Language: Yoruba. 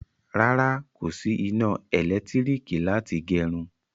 Rárá, kò sí iná elekitiriki láti gerun